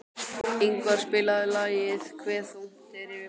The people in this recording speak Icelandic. Ingvar, spilaðu lagið „Hve þungt er yfir bænum“.